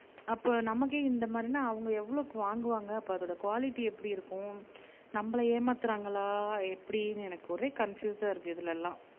அப்ப நமக்கே இந்த மாதிரின்னா அவுங்க எவ்ளோக்கு வாங்குவாங்க அப்ப அதோட குவாலிட்டி எப்படி இருக்கும் நம்மல ஏமாத்துறாங்களா எப்படின்னு எனக்கு ஒரே காணபியுசா இருக்கு இதுல எல்லாம்